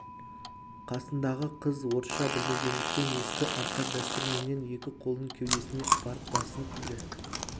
қасындағы қыз орысша білмегендіктен ескі арқа дәстүріменен екі қолын кеудесіне апарып басын иді